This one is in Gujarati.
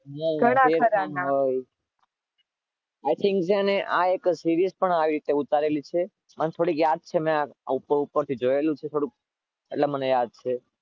ઘણા ખરા I Think છે ને આ એક Serise પણ આવી છે, ઉતારેલી છે. મન થોડી યાદ પણ છે ઉપર ઉપરથી જોયેલું છે થોડુક, એટલે મને યાદ છે.